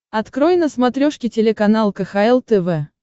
открой на смотрешке телеканал кхл тв